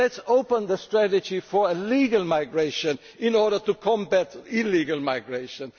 policy. Let us open the strategy for legal migration in order to combat illegal